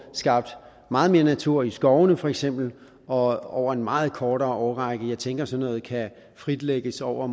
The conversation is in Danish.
skabt meget mere natur i skovene for eksempel og over en meget kortere årrække jeg tænker sådan noget kan fritlægges over